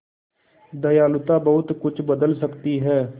दयालुता बहुत कुछ बदल सकती है